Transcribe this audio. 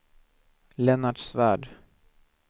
Lennart Svärd